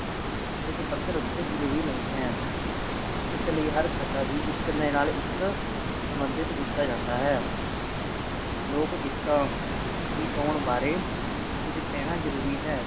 ਇਸ ਪੱਧਰ ਉਤੇ ਜਰੂਰੀ ਨਹੀਂ ਹੈ ਇਸ ਲਈ ਹਰ ਕਥਾ ਦੀ ਇਕ ਨਾ ਇਕ ਸੰਬੰਧਿਤ ਕੀਤਾ ਜਾਂਦਾ ਹੈ ਲੋਕ ਗੀਤਾਂ ਦੀ ਚੋਣ ਬਾਰੇ ਕੁਝ ਕਹਿਣਾ ਜਰੂਰੀ ਹੈ